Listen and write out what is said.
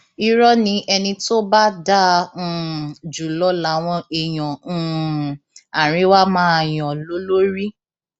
irọ ni ẹni tó bá dáa um jù lọ làwọn èèyàn um àríwá máa yan lólórí